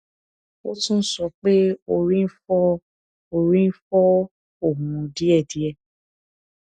ó tún sọ pé orí ń fọ orí ń fọ òun díẹ díẹ